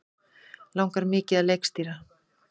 Langar mikið að leikstýra